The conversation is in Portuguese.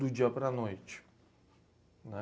do dia para a noite.